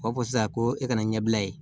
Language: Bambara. O b'a fɔ sisan ko e ka na ɲɛbila yen